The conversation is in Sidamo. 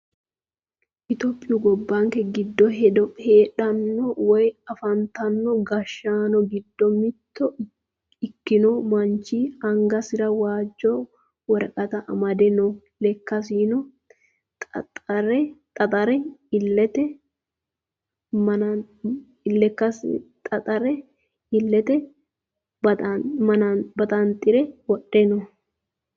Itiyophiyu gobbanke giddo heedhano Woyi afantanno gashshaano giddo mitto ikkino manchi angasira waajjo woraqata amade no. Lekkasino xaaxire illete baxanxure wodhe no.